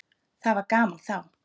Það var gaman þá.